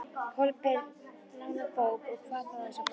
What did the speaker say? Kolbeinn lánar bók, og hvað þá þessa bók.